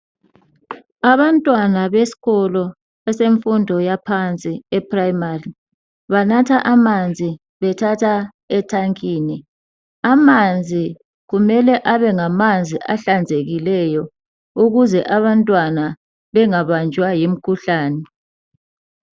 Abantwana beskolo esemfundo yaphansi, eprimary. Banatha amanzi, bethatha ethankeni. Amanzi kumele abengamanzi ahlanzekileyo. Ukuze abantwana bengabanjwa yimikhuhlane.